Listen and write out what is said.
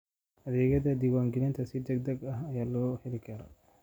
Adeegyada diiwaangelinta si degdeg ah ayaa loo heli karaa.